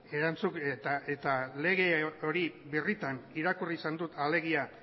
erantzukizuna eta lege hori birritan irakurri izan dut alegia